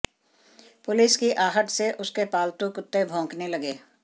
police की आहट से उसके पालतू कुत्ते भौंकने लगे